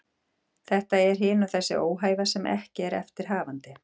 Þetta er hin og þessi óhæfa sem ekki er eftir hafandi.